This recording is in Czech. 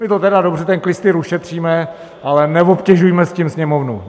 My to tedy dobře, ten klystýr, ušetříme, ale neobtěžujme s tím Sněmovnu.